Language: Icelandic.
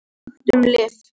SAGT UM LIV